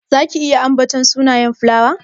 Zaki iya ambaton sunayen filawa?